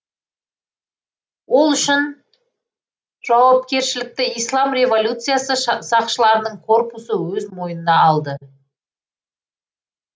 ол үшін жауакершілікті ислам революциясы сақшыларының корпусы өз мойнына алды